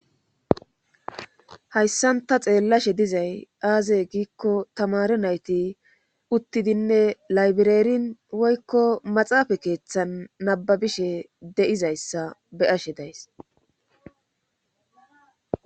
Hayssan ta xeellashe dizay aaze giikko tamare nayti uttidinne laybireerin woykko maxaafa keeththan nababishe de7izayssa be ashe days